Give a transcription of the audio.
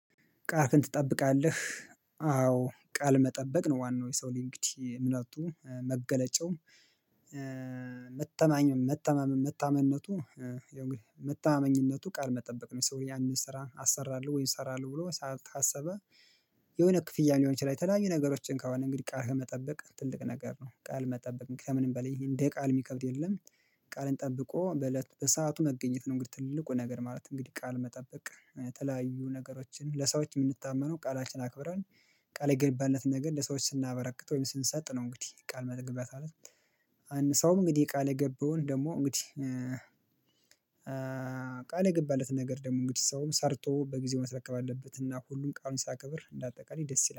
ቃልህን ትጠብቃለህ? አዎ ቃል መጠበቅ ነው ዋናው የሰው ልጅ እንግዲህ እምነቱ መገለጫው። መተማመን መተማመንነቱ መተማመኝነቱ ቃል መጠበቅ ነው። ሰውየው ያንን ስራ አሰራለሁ ወይም እሰራለሁ ብሎ ካሰበ። የሆነ ክፍያ ሊሆን ይችላል የተለያዩ ነገሮችን ከሆነ እንግዲህ ቃል መጠበቅ ትልቅ ነገር ነው። ቃል መጠበቅ ከምንም በላይ እንደ ቃል የሚከብድ የለም። ቃልን ጠብቆ በለት በሰአቱ መገኘት ነው። እንግዲህ ትልቁ ነገር ማለት እንግዲህ ቃል መጠበቅ የተለያዩ ነገሮችን ለሰዎች የምንታመነው ቃላችን አክብረን ቃል የገባንለትን ነገር ለሰዎች ስናበረክት ወይም ስንሰጥ ነው። እንግዲህ ቃል መጠገብ አለብን። ሰውም እንግዲህ ቃል የገባውን ደግሞ እንግዲህ ቃል የገባለት ነገር ደግሞ እንግዲህ ሰውም ሰርቶ በጊዜው ማስረከብ አለበት። እና ሁሉም ቃሉን ሲያከብር እንደ አጠቃላይ ደስ ይላል